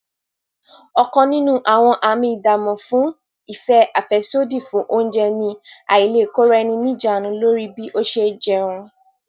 Ọ̀kan nínú àwọn àmì ìdámò fún ìfẹ́ àfẹ́sódì fún oúnjẹ ní àìlèkóraẹni ní ìjánu lórí bí ó ṣe jẹun